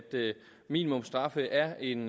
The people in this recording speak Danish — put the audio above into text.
minimumsstraffe er en